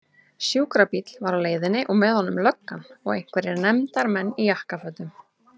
Sjúkrabíll var á leiðinni og með honum löggan og einhverjir nefndar- menn í jakkafötum.